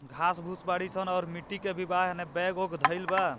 घाँस-भुस बाड़ीसन और मिट्टी के भी बा एने बैग उग धईल बा।